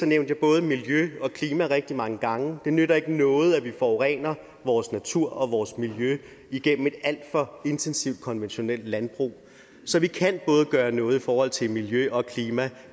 jeg både miljøet og klimaet rigtig mange gange det nytter ikke noget at vi forurener vores natur og vores miljø igennem et alt for intensivt konventionelt landbrug så vi kan gøre noget både i forhold til miljø og klima